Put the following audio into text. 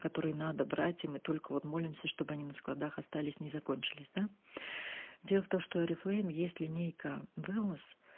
который надо брать и мы только вот молимся чтобы они на складах остались не закончились да дело в том что орифлейм есть линейка вэлнес